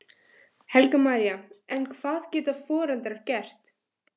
Helga María: En hvað geta foreldrar gert?